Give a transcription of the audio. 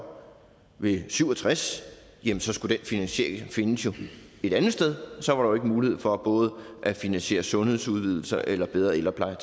ved syv og tres jamen så skulle den finansiering jo findes et andet sted så ikke mulighed for både at finansiere sundhedsudvidelser eller bedre ældrepleje